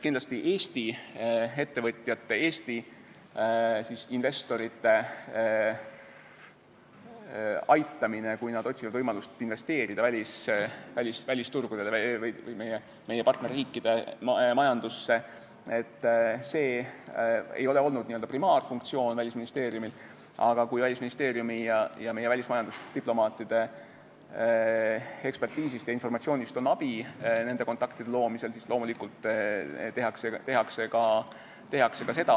Kindlasti ei ole Eesti ettevõtjate, Eesti investorite aitamine, kui nad on otsinud võimalust investeerida välisturgudele või meie partnerriikide majandusse, olnud Välisministeeriumi n-ö primaarfunktsioon, aga kui Välisministeeriumi ja meie majandusdiplomaatide eksperditeadmistest ja informatsioonist on abi kontaktide loomisel, siis loomulikult tehakse koostööd.